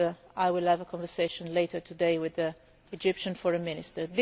I will have a conversation later today with the Egyptian Foreign Minister.